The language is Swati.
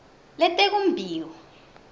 letekumbiwa